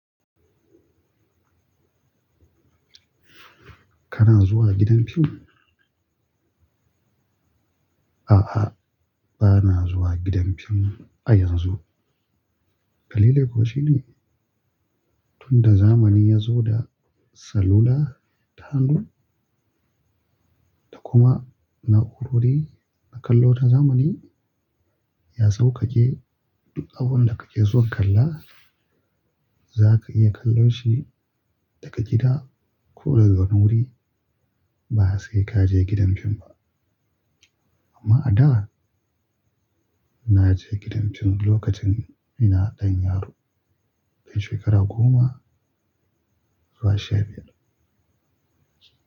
Kana zuwa gidan fim? A'a, ba na zuwa gidan fim a yanzu. Dalilin ko shine, tunda zamani ya zo da salula, tahanu da kuma na'urori na kallo ta zamani, ya sausake duk abin da kake so kalla zaka iya kallon shi daga gida ko daga wani wuri ba sai ka je gidan fim ba. Amma a da na je gidan fim lokacin ina ɗan yaro, shekara goma zuwa sha biyar.